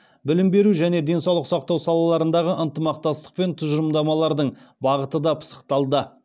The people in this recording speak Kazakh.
білім беру және денсаулық сақтау салаларындағы ынтымақтастық пен тұжырымдардың бағыты да пысықталды